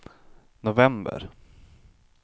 november